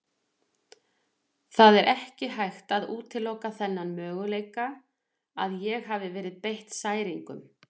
Það er ekki hægt að útiloka þann möguleika að ég hafi verið beitt særingum.